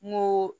N ko